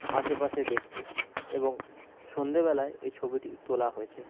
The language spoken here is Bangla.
আশেপাশে দেখছে এবং সন্ধ্যেবেলায় এই ছবিটি তোলা হয়েছে ।